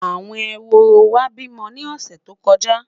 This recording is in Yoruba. àwọn ehoro wa bi mó ni ọsẹ tó n bo